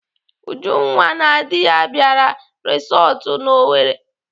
Ujunwa na di ya bịara resọtụ nọ n'Owerri.